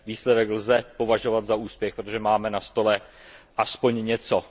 Výsledek lze považovat za úspěch, protože máme na stole alespoň něco.